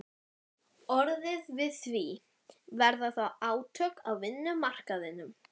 orðið við því, verða þá átök á vinnumarkaðnum?